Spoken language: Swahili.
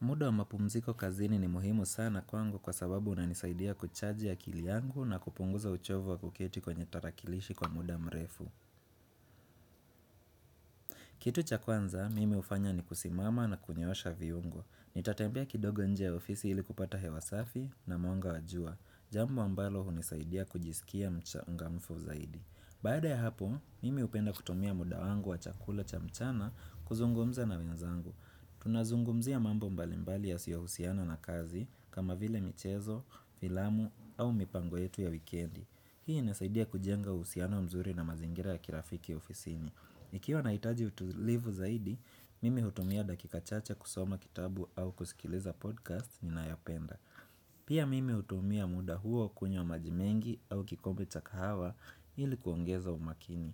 Muda wa mapumziko kazini ni muhimu sana kwangu kwa sababu unanisaidia kuchaji akili yangu na kupunguza uchovu wa kuketi kwenye tarakilishi kwa muda mrefu. Kitu cha kwanza, mim hufanya ni kusimama na kunyoosha viungo. Nitatembea kidogo nje ya ofisi ili kupata hewa safi na mwanga wa jua. Jambo ambalo hunisaidia kujisikia mchangamfu zaidi. Baada ya hapo, mimi hupenda kutumia muda wangu wa chakula cha mchana kuzungumza na wenzangu. Tunazungumzia mambo mbalimbali yasiyo husiana na kazi kama vile michezo, filamu au mipango yetu ya wikendi. Hii inasaidia kujenga uhusiano mzuri na mazingira ya kirafiki ofisini Ikiwa nahitaji utulivu zaidi, mimi hutumia dakika chache kusoma kitabu au kusikiliza podcast ninayopenda Pia mimi hutumia muda huo kunywa maji mengi au kikombe cha kahawa ili kuongeza umakini